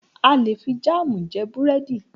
A lè fi jámù jẹ búrẹ́dì.